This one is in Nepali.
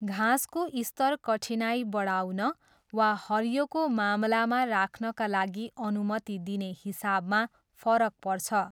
घाँसको स्तर कठिनाइ बढाउन वा हरियोको मामलामा राख्नाका लागि अनुमति दिने हिसाबमा फरक पर्छ।